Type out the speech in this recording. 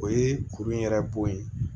O ye kuru yɛrɛ bɔ ye